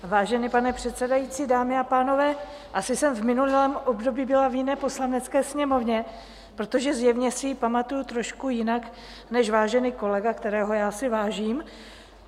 Vážený pane předsedající, dámy a pánové, asi jsem v minulém období byla v jiné Poslanecké sněmovně, protože zjevně si ji pamatuji trošku jinak než vážený kolega, kterého já si vážím.